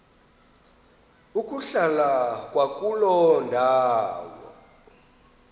ukuhlala kwakuloo ndawo